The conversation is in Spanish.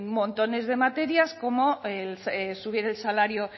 montones de materias como subir el salario